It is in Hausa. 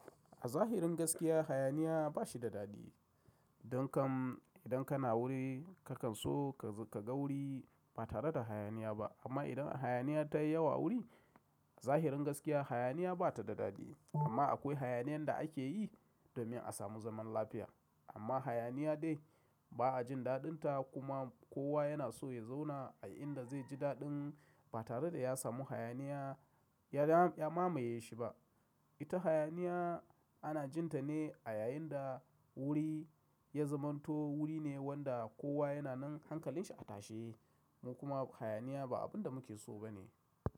A zahirin gaskiya hayaniya ba shi da daɗi. Don kan idan kana wuri kakan so ka ga wuri ba tare da hayaniya ba. Amma idan hayaniya ta yi yawa wuri zahirin gaskiya hayaniya ba ta da daɗi. Amma akwai hayaniyan da ake yi domin a samu zaman lafiya. Amma hayaniya dai ba a jin daɗin ta kuma kowa yana so ya zauna a inda zai ji daɗin ba tare da ya samu hayaniya ya mamaye shi ba. Ita hayaniya ana jin ta ne a yayin da wuri ya zamanto wuri ne wanda kowa yana nan hankalin shi a tashe. Mu kuma hayaniya ba abin da muke so ba ne.